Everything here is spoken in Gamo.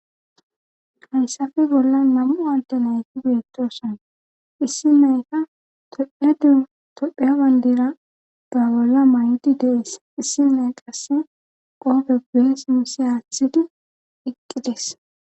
Hayssafe bolla namu alde nayti biyetoson issi nayka tophedu topheya bayndira gaa bolla may7di dees issi nay qasse qoope bees misi haaththidi iqqides